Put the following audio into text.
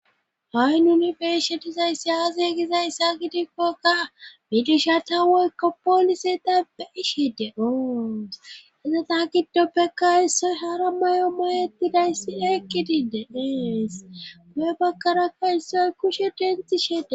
ha7i nuni beyeshetizaysi yaaze gizayssaa gidikkokka midisha ta weykka poolise dapbe ishe de oons izeta giddoppeka issoy hara may7o mayetidayssi eyqqidinde deees guhe bakkarakka issoy kushe denxi shede